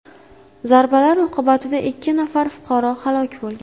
Zarbalar oqibatida ikki nafar fuqaro halok bo‘lgan.